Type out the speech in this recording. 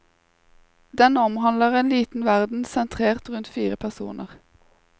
Den omhandler en liten verden sentrert rundt fire personer.